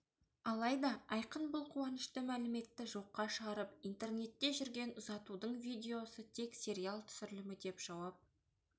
алайда айқын бұл қуанышты мәліметті жоққа шығарып интернетте жүрген ұзатудың видеосы тек сериал түсірілімі деп жауап